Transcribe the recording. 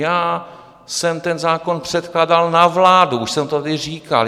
Já jsem ten zákon předkládal na vládu, už jsem to tady říkal.